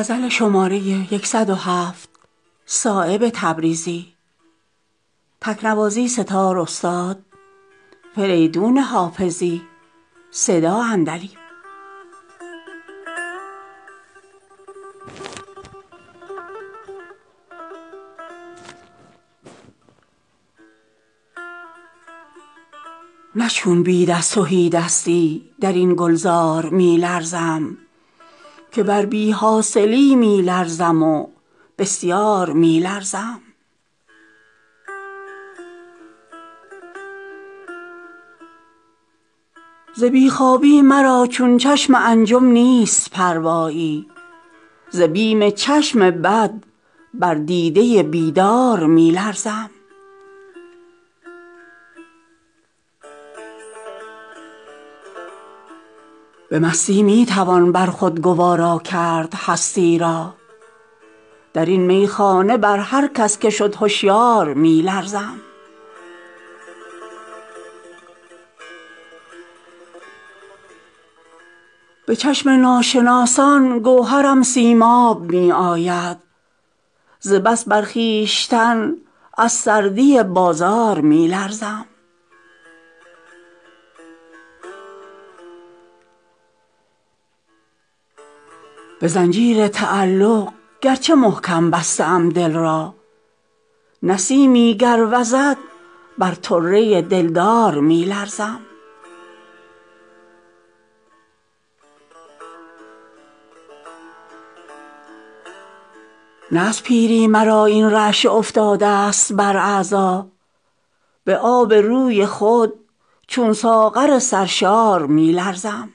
نه چون بید از تهیدستی درین گلزار می لرزم که بر بی حاصلی می لرزم و بسیار می لرزم ز بیخوابی مرا چون چشم انجم نیست پروایی ز بیم چشم بد بر دیده بیدار می لرزم در دولتسرای نیستی می آورد دهشت ز بیم جان نه چون منصور زیر دار می لرزم خطر از سبزه بیگانه بسیارست گلشن را ز خط بر عارض گلرنگ او بسیار می لرزم به مستی می توان بر خود گوارا کرد هستی را درین میخانه به هر کس که شد هشیار می لرزم نیم ایمن بر آن تنگ دهان از خال شبرنگش ازین غماز بر گنجینه اسرار می لرزم به چشم ناشناسان گوهرم سیماب می آید ز بس بر خویشتن از سردی بازار می لرزم نه بهر جان بود لرزیدنم چون مردم بیدل ز جان سختی بر آن شمشیر بی زنهار می لرزم حضور خیره چشمان حسن را بی پرده می سازد نسیمی را چو می بینم در آن گلزار می لرزم نه از پیری مرا این رعشه افتاده است بر اعضا به آب روی خود چون ساغر سرشار می لرزم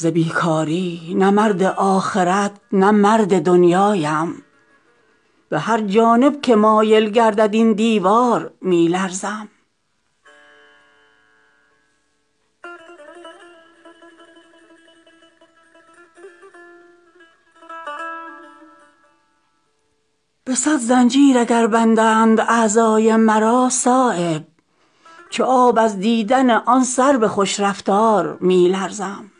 اگرچه چون شرار از سنگ دارم مهر خاموشی ز بی ظرفی همان بر خرده اسرار می لرزم ز بیکاری نه مرد آخرت نه مرد دنیایم به هر جانب که مایل گردد این دیوار می لرزم ز زخم داس بر خود خوشه در خشکی نمی لرزد به عنوانی که من زین چرخ کج رفتار می لرزم تجرد در نظرها تیغ چو بین را سبک سازد نه از دلبستگی بر جبه و دستار می لرزم ز سنگ کودکان بر خود نلرزد نخل بارآور به عنوانی که من زین خلق ناهموار می لرزم کند بیتاب اندک پیچ و تابی رشته جان را بر آن موی میان از پیچش زنار می لرزم به زنجیر تعلق گرچه محکم بسته ام دل را نسیمی گر وزد بر طره دلدار می لرزم ندارد درد بی درمان به جز تسلیم درمانی ز تدبیر طبیبان بر دل بیمار می لرزم ندارد چهره پوشیده رویان تاب رسوایی ز غیرت سخت بر فرهاد شیرین کار می لرزم به صد زنجیر اگر بندند اعضای مرا صایب چو آب از دیدن آن سرو خوش رفتار می لرزم